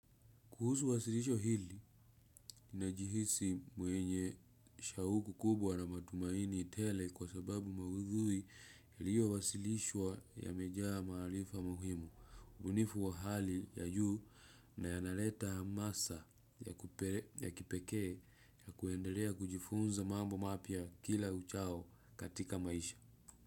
Kuhusu wasilisho hili, ninajihisi mwenye shauku kubwa na matumaini tele kwa sababu maudhui iliyo wasilishwa yamejaa maarifa muhimu. Ubunifu wa hali ya juu na yanaleta hamasa ya kipekee ya kuendelea kujifunza mambo mapya kila uchao katika maisha.